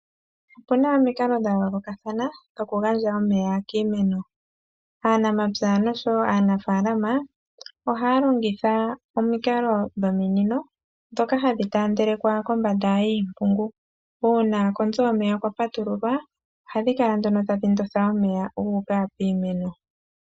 Oku na omikalo dha yoolokathana dhokugandja omeya kiimeno. Aanamapya nosho wo aanafaalama ohaya longitha omikalo dhominino, ndhoka hadhi taandelekwa kombanda yiimpungu. Uuna konzo yomeya kwa patululwa, ohadhi kala nduno tadhi ndotha omeya ga uka piimeno.